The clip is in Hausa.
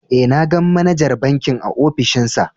Eh, na gan manajar bankin a ofishin sa.